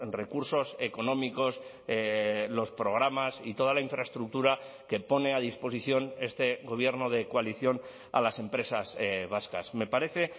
recursos económicos los programas y toda la infraestructura que pone a disposición este gobierno de coalición a las empresas vascas me parece